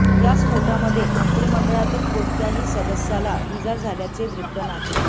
या स्फोटामध्ये मंत्रिमंडळातील कोणत्याही सदस्याला इजा झाल्याचे वृत्त नाही